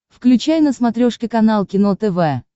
включай на смотрешке канал кино тв